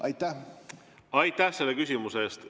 Aitäh selle küsimuse eest!